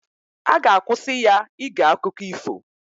A ga-akwụsị ya ige akụkọ ifo